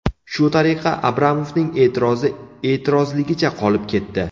Shu tariqa Abramovning e’tirozi e’tirozligicha qolib ketdi.